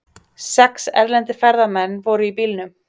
Sex erlendir ferðamenn voru í bílnum